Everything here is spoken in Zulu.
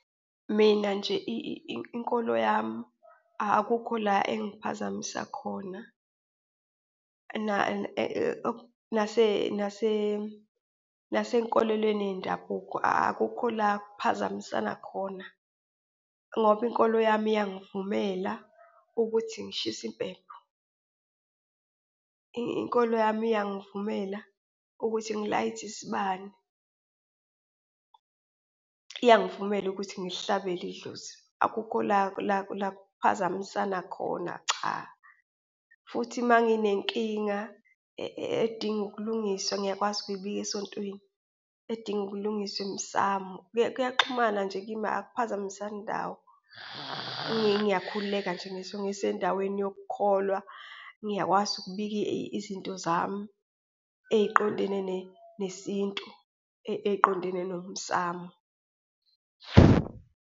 Mina nje inkolo yami akukho la engiphazamisa khona, nasenkolelweni yendabuko, akukho la kuphazamisana khona ngoba inkolo yami iyangivumela ukuthi ngishise impepho, inkolo yami iyangivumela ukuthi ngilayithe isibani, iyangivumela ukuthi ngilihlabele idlozi. Akukho la, la, la kuphazamisana khona, cha, futhi uma nginenkinga edinga ukulungiswa, ngiyakwazi ukuyibhika esontweni, edinga ukulungiswa emsamo, kuyaxhumana nje kimi, akuphazamisani ndawo. Ngiyakhululeka nje ngisho ngisendaweni yokukholwa, ngiyakwazi ukubika izinto zami eyiqondene nesintu, eyiqondene nomsamo.